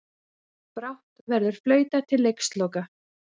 Brátt verður flautað til leiksloka